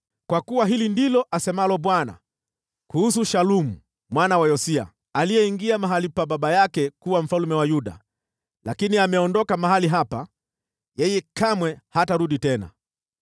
Kwa kuwa hili ndilo asemalo Bwana kuhusu Shalumu mwana wa Yosia, aliyeingia mahali pa baba yake kuwa mfalme wa Yuda, lakini ameondoka mahali hapa: “Yeye kamwe hatarudi tena.